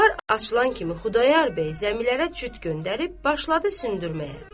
Bahar açılan kimi Xudayar bəy zəmilərə cüt göndərib başladı söndürməyə.